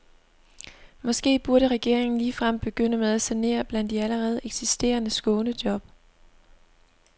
Måske burde regeringen ligefrem begynde med at sanere blandt de allerede eksisterende skånejob.